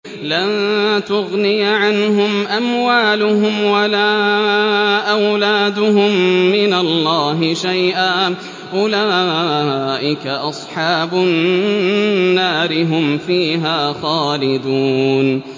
لَّن تُغْنِيَ عَنْهُمْ أَمْوَالُهُمْ وَلَا أَوْلَادُهُم مِّنَ اللَّهِ شَيْئًا ۚ أُولَٰئِكَ أَصْحَابُ النَّارِ ۖ هُمْ فِيهَا خَالِدُونَ